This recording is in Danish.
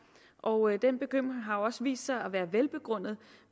og den bekymring har jo også vist sig at være velbegrundet